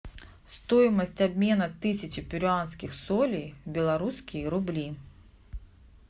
стоимость обмена тысячи перуанских солей в белорусские рубли